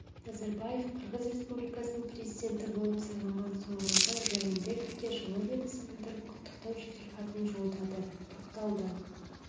назарбаев қырғыз республикасының президенті болып сайланған сооронбай жээнбековке жылы лебізін білдіріп құттықтау жеделхатын жолдады тоқталды